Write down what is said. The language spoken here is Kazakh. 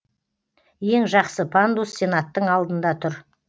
ең жақсы пандус сенаттың алдында тұр